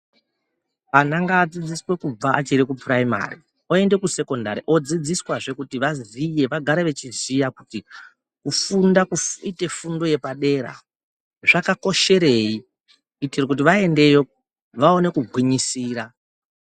Ana ngadzidziswe kubva achiri kupuraimari oende kusekondari odzidziswazve kuti vaziye vagare vechiziya kuti kufunda kuite fundo yepadera zvakakosherei kuitira kuti vaendeyo vaone kugwinyisira.